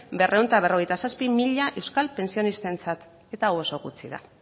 berrehun eta berrogeita zazpi mila euskal pentsionistentzat eta hau oso gutxi da